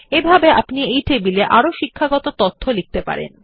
একইভাবে আপনি টেবিল এ আরো শিক্ষাগত তথ্য লিখতে পারেন